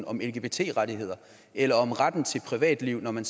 om lgbt rettigheder eller om retten til privatliv når man